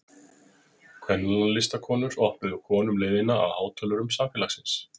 Kvennalistakonur opnuðu konum leiðina að hátölurum samfélagsins.